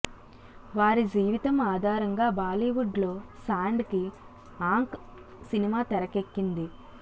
వారి జీవితం ఆధారంగా బాలీవుడ్ లో సాండ్ కి ఆంఖ్ సినిమా తెరకెక్కింది